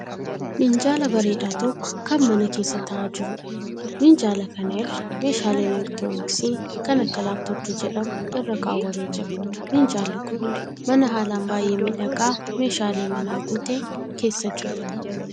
Minjaala bareedaa tokko kan mana keessa ta'aa jiruudha. Minjaala kana irra meeshaan 'elekirooniksii' kan 'laaptooppii' jedhamu irra kaawwamee jira. Minjaalli kun mana haalaan baay'ee miidhagaa meeshaalee manaan guute keessa jira.